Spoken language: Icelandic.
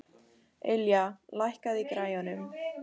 Ylja, lækkaðu í græjunum.